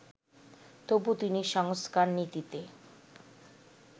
তবু তিনি সংস্কারনীতিতে